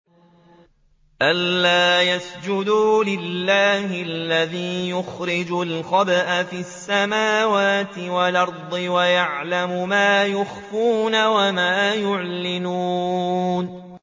أَلَّا يَسْجُدُوا لِلَّهِ الَّذِي يُخْرِجُ الْخَبْءَ فِي السَّمَاوَاتِ وَالْأَرْضِ وَيَعْلَمُ مَا تُخْفُونَ وَمَا تُعْلِنُونَ